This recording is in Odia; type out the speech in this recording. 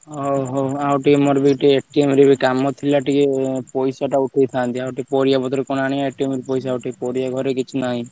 ହଉ ହଉ ଆଉ ଆଉ ଟିକେ ମୋର ରେ କାମ ଥିଲା ଟିକେ ପଇସା ଟା ଉଠେଇଥାନ୍ତି ଆଉ ପରିବାପତ୍ର କଣ ଆଣିଆ ରୁ ପଇସା ଉଠେଇ ପାରିବ କିଛି ଘରେ ନାହିଁ।